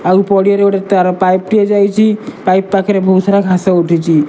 ଆଉ ପଡ଼ିଆରେ ଗୋଟେ ତାର ପାଇପି ଟିଏ ଯାଇଚି ପାଇପି ପାଖରେ ବହୁତ ସାରା ଘାସ ଉଠିଚି।